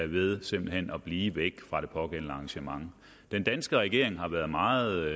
ved simpelt hen at blive væk fra det pågældende arrangement den danske regering har været meget